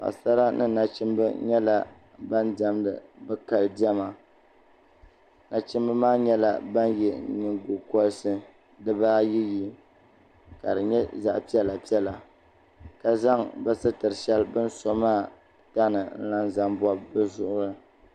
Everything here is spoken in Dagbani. Paɣi sara ni nachimba yɛla ban dɛmidi bi kali diɛma nachimba maa yɛla bani yiɛ yingo kɔrisi dibaa ayi yi kadi yɛ zaɣi piɛlla piɛlla zaŋ bi sitiri bini so maa tani n lan zaŋ bɔbi bi zuɣu.